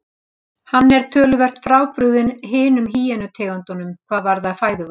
Hann er töluvert frábrugðinn hinum hýenu tegundunum hvað varðar fæðuval.